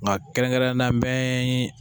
Nka kɛrɛnkɛrɛnnenya la n bɛ